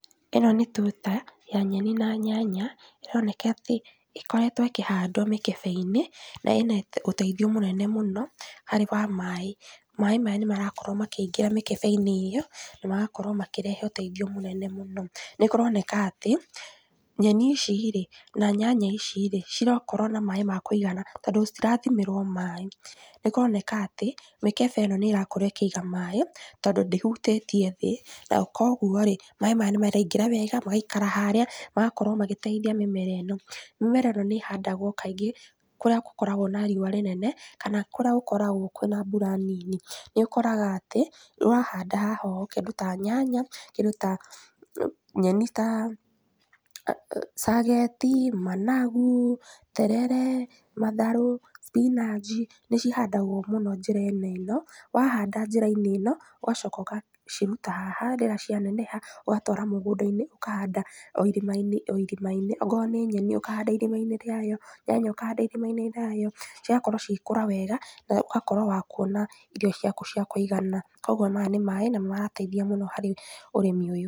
ĩno nĩ tuta, ya nyeni na nyanya, ĩroneka atĩ, ĩkoretwo ĩkĩhandwo mĩkebe-inĩ na ĩno ũteithio mũnene mũno, harĩ wa maĩ, maĩ maya nĩmarakorwo makĩingĩra mĩkebe-inĩ ĩyo, na magakorwo makĩrehe ũteithio mũnene mũno, nĩkũroneka atĩ, nyeni ici rĩ, na nyanya ici rĩ, cirakorwo na maĩ ma kũigana tondũ citirathimĩrwo maĩ, nĩkũroneka atĩ, mĩkebe ĩno nĩrakorwo ĩkĩiga maĩ, tondũ ndĩhutĩtie thĩ, no koguo rĩ, maĩ maya nĩmaraingĩra wega, magaikara harĩa, magakorwo magĩteithia mĩmera ĩno, mĩmera ĩno nĩhandagwo kaingĩ, kũrĩa gũkoragwo na riũa rĩnene, kana kũrĩa gũkoragwo kwĩna mbura nini, nĩũkoraga atĩ, nĩwahanda haha ũ kĩndũ ta nyanya, kĩndũ ta, nyeni ta cageti, managu, terere, matharũ, spinanji, nĩcihandagwo mũno njĩra-inĩ ĩno, wahanda njĩra-inĩ ĩno, ũgacoka ũgacirũta haha harĩa cianeneha, ũgatwara mũgũnda-inĩ, ũkahanda o irima-inĩ o irima-inĩ, okorwo nĩ nyeni ũkahanda irima-inĩ rĩayo, nyanya úkahanda irima-inĩ rĩayo, cigakorwo cigĩkũra wega, nogakorwo wa kuona irio ciaku cia kũigana, koguo maya nĩ maĩ na marateithia mũno harĩ ũrĩmi ũyũ.